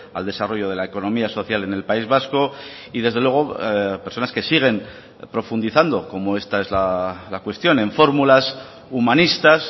al desarrollo de la economía social en el país vasco y desde luego personas que siguen profundizando como esta es la cuestión en fórmulas humanistas